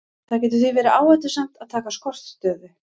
Það getur því verið áhættusamt að taka skortstöðu.